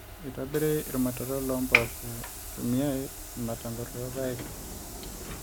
eitobiri irmutaron loompoosho eitumiai irmatankot loorpaek